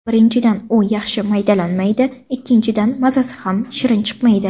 Birinchidan, u yaxshi maydalanmaydi, ikkinchidan mazasi ham shirin chiqmaydi.